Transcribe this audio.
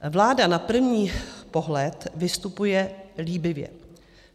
Vláda na první pohled vystupuje líbivě.